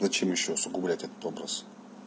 зачем ещё усугублять этот образ